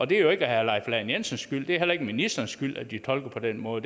det er jo ikke herre leif lahn jensens skyld det er heller ikke ministerens skyld at de tolker på den måde